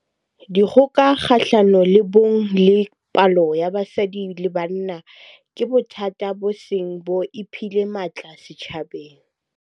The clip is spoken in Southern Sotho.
Dikgoka kgahlano le bong le polao ya basadi le banana ke bothata bo seng bo iphile matla setjhabeng.